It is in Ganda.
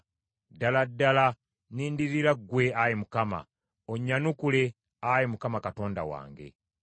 Ddala ddala nnindirira ggwe, Ayi Mukama , onnyanukule, Ayi Mukama Katonda wange.